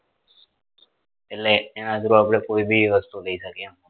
એટલે એના through આપડે કોઈ બી વસ્તુ લઇ શકીએ એમ